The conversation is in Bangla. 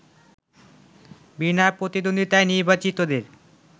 বিনা প্রতিদ্বন্দ্বিতায় নির্বাচিতদের